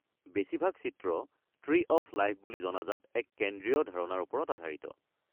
বেছিভাগ চিত্ৰ 'tree of life' বুলি জনাজাত এক কেন্দ্ৰীয় ধাৰণাৰ ওপৰত আধাৰিত।